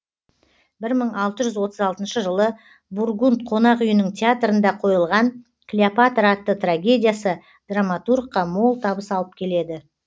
бір мың алты жүз отыз алтыншы жылы бургунд қонақ үйінің театрында қойылған клеопатра атты трагедиясы драматургқа мол табыс алып келеді